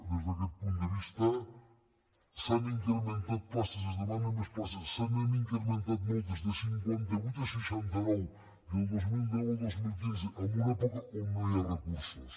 des d’aquest punt de vista s’han incrementat places es demanen més places se n’han incrementat moltes de cinquanta vuit a seixanta nou del dos mil deu al dos mil quinze en una època on no hi ha recursos